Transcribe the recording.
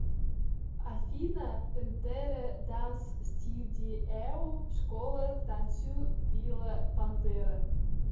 афина пэнтерэ данс стьюдиэу школа танцю била пантера